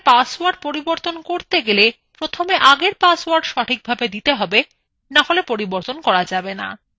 password পরিবর্তন করতে গেলে প্রথমে আগের পাসওয়ার্ড সঠিকভাবে দিতে হবে নাহলে করা যাবে the